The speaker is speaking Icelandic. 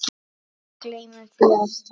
Við gleymum því alltaf